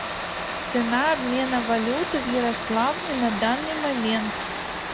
цена обмена валюты в ярославле на данный момент